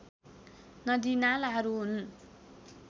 नदीनालाहरू हुन्